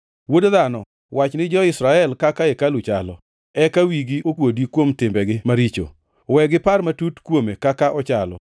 “Wuod dhano, wach ni jo-Israel kaka hekalu chalo, eka wigi okuodi kuom timbegi maricho. We gipar matut kuome kaka ochalo,